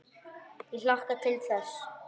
Ég hlakka til þess.